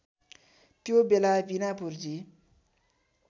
त्यो बेला बिना पुर्जी